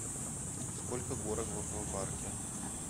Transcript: сколько горок в аквапарке